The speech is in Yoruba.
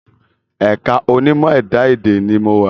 Ẹ̀ka onímọ̀ ẹ̀dá-èdè ni mo wà